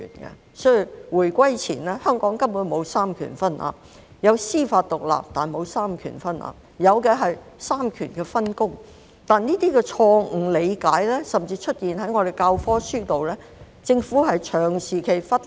故此在回歸前，香港根本沒有三權分立——有司法獨立，但沒有三權分立，有的是三權分工——但這些錯誤理解甚至出現在我們的教科書本內，而政府長期忽視。